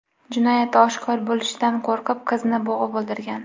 jinoyati oshkor bo‘lishidan qo‘rqib qizni bo‘g‘ib o‘ldirgan.